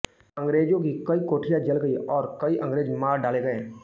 अंग्रेजों की कई कोठियाँ जल गईं और कई अंग्रेज मार डाले गए